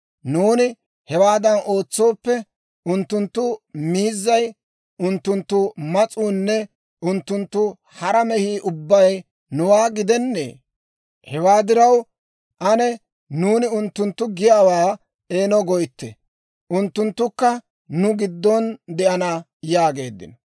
Nuuni hewaadan ootsooppe, unttunttu miizzay, unttunttu mas'uunne unttunttu hara mehii ubbay nuwaa gidennee? Hewaa diraw ane nuuni unttunttu giyaawaa eeno goytte; unttunttukka nu giddon de'ana» yaageeddino.